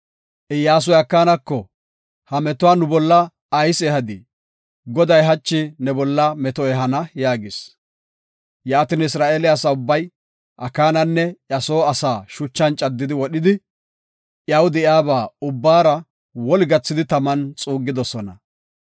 Iyyasuy Akaanako, “Ha metuwa nu bolla ayis ehadii? Goday hachi ne bolla meto ehana” yaagis. Yaatin Isra7eele asa ubbay, Akaananne iya soo asaa shuchan caddi wodhidi, iyaw de7iyaba ubbaara woli gathidi taman xuuggidosona.